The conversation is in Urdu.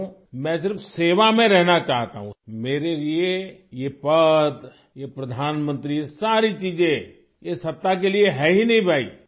میں تو صرف خدمت میں پہ رہنا چاہتا ہوں، میرے لیے یہ عہدہ، یہ وزیراعظم ساری چیزیں یہ اقتدار کے لیے ہے ہی نہیں بھائی، خدمت کے لیے ہے